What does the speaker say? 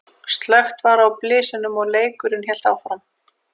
Slökkt var á blysunum og leikurinn hélt áfram.